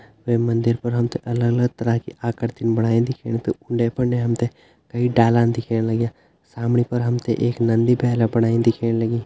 वे मंदिर पर हमतें अलग-अलग तरह की आकृतिन बणाई दिखेणी त उंडे फुंडे हमतें कई डालान दिखेण लग्यां सामणी पर हमतें एक नंदी बैला बणाई दिखेण लगीं।